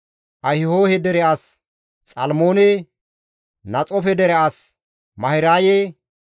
Ahihohe dere as Xalmoone, Naxoofe dere as Mahiraye,